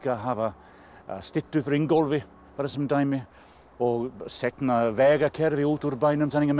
að hafa styttu af Ingólfi bara sem dæmi seinna vegakerfi út úr bænum þannig að menn